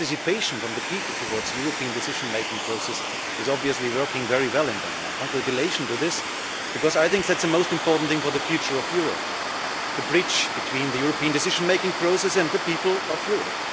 in the European decision making process is obviously working very well in Denmark. Congratulations on this because I think that the most important thing for the future of Europe is the bridge between the European decision making process and the people of Europe.